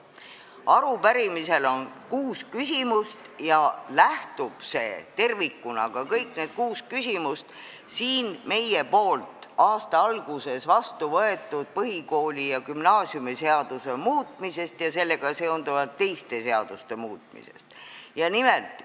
Arupärimises on kuus küsimust ja see lähtub tervikuna siin aasta alguses meie vastu võetud põhikooli- ja gümnaasiumiseaduse muutmise ning sellega seonduvalt teiste seaduste muutmise seadusest.